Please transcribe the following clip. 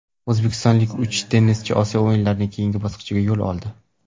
O‘zbekistonlik uch tennischi Osiyo o‘yinlarining keyingi bosqichiga yo‘l oldi.